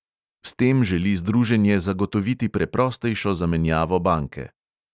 S tem želi združenje zagotoviti preprostejšo zamenjavo banke.